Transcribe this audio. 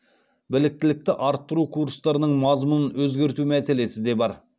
біліктілікті арттыру курстарының мазмұнын өзгерту мәселесі де бар